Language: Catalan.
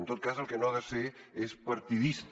en tot cas el que no ha de ser és partidista